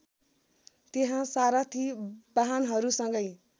त्यहाँ सारथि बाहनहरूसँगै